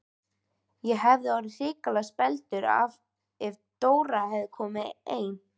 Ég hefði orðið hrikalega spældur ef Dóra hefði komið ein!